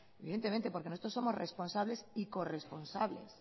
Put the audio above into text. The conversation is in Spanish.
evidentemente porque nosotros somos responsables y corresponsables